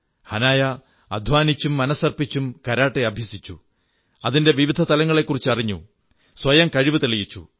ഹനായ അധ്വാനിച്ചും മനസ്സർപ്പിച്ചും കരാട്ടെ അഭ്യസിച്ചു അതിന്റെ വിവിധ തലങ്ങളെക്കുറിച്ചറിഞ്ഞു സ്വയം കഴിവു തെളിയിച്ചു